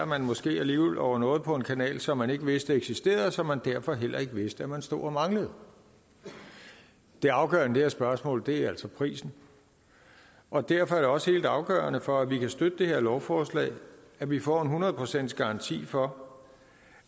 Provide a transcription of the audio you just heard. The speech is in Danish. man måske alligevel over noget på en kanal som man ikke vidste eksisterede og som man derfor heller ikke vidste man stod og manglede det afgørende i det her spørgsmål er altså prisen og derfor er det også helt afgørende for at vi kan støtte det her lovforslag at vi får hundrede procent garanti for